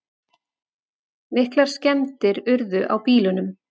Miklar skemmdir urðu á bílunum